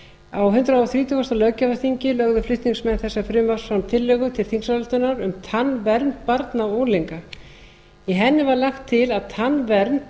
á hundrað þrítugasta löggjafarþingi lögðu flutningsmenn þessa frumvarps fram tillögu til þingsályktunar um tannvernd barna og unglinga í henni var lagt til að tannvernd